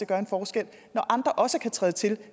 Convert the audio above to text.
gør en forskel når andre også kan træde til